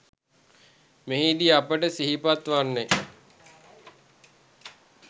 මෙහිදී අපට සිහිපත් වන්නේ